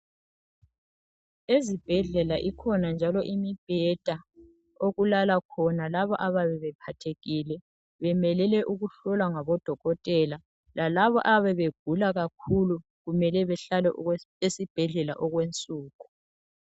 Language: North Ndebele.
Ezibhedlela ikhona njalo imibheda okulala khona labo abayabe bephathekil bemelele ukuhlolwa ngodokotela lalabo abayabe begula kakhulu kumele behlale esibhedlela okwe nsuku